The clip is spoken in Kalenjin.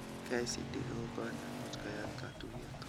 KICD kou kot nemuch koyat katuyet